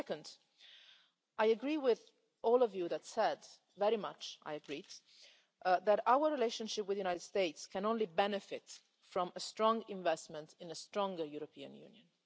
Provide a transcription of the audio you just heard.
Secondly, I very much agree with all of you who said that our relationship with the United States can only benefit from a strong investment in a stronger European Union.